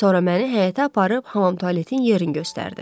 Sonra məni həyətə aparıb hamam-tualetin yerin göstərdi.